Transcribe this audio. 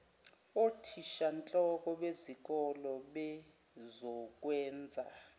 othishanhloko bezikole bezokwenza